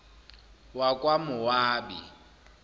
wakwamowabi